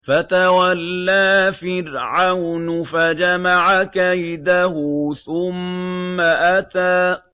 فَتَوَلَّىٰ فِرْعَوْنُ فَجَمَعَ كَيْدَهُ ثُمَّ أَتَىٰ